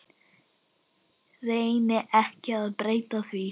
Reyni ekki að breyta því.